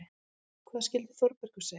Hvað skyldi Þórbergur segja?